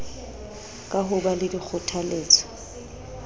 ka ho ba le dikgothaletso